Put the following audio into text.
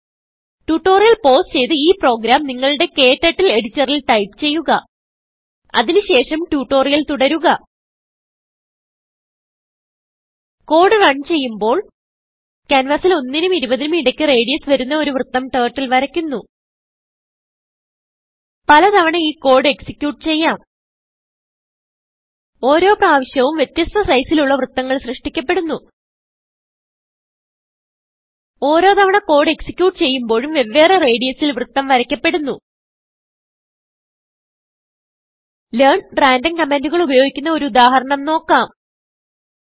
tutorial pause ചെയ്ത് ഈ program നിങ്ങളുടെKTurtle എഡിറ്ററിൽ ടൈപ്പ് ചെയ്യുക അതിന് ശേഷം ട്യൂട്ടോറിയൽ തുടരുക കോഡ് റൺ ചെയ്യുമ്പോൾ ക്യാൻവാസിൽ 1നും20നും ഇടയ്ക്ക് റേഡിയസ് വരുന്ന ഒരു വൃത്തം turtleവരയ്ക്കുന്നു പല തവണ ഈ കോഡ് എക്സിക്യൂട്ട് ചെയ്യാം ഓരോ പ്രവിശ്യവും വ്യതസ്ഥ sizeൽ ഉള്ള വൃത്തങ്ങൾ സൃഷ്ടിക്കപ്പെടുന്നു ഓരോ തവണ കോഡ് executeചെയ്യുമ്പോഴും വെവ്വേറ റേഡിയസിൽ വൃത്തം വരയ്ക്കപ്പെടുന്നു Learnrandomകമാൻഡുകൾ ഉപയോഗിക്കുന്ന ഒരു ഉദാഹരണം നോക്കാം